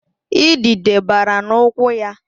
Idide bara n'ụkwụ ya